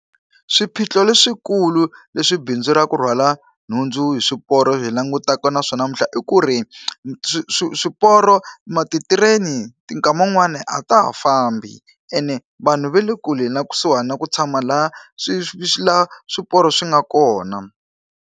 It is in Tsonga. Swiphiqo leswikulu leswi bindzu ra ku rhwala nhundzu hi swiporo ri langutanaka na swona namuntlha i ku ri, swi swi swiporo ti-train-i nkama wun'wani a ta ha fambi. Ene vanhu va le kule na kusuhani na ku tshama laha laha swiporo swi nga kona.